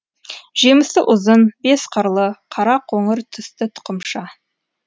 жемісі ұзын бес қырлы қара қоңыр түсті тұқымша